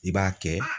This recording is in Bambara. I b'a kɛ